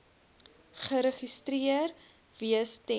geregistreer wees ten